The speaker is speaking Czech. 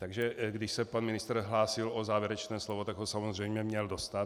Takže když se pan ministr hlásil o závěrečné slovo, tak ho samozřejmě měl dostat.